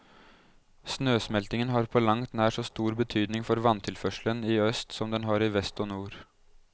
Snøsmeltingen har på langt nær så stor betydning for vanntilførselen i øst som den har i vest og nord.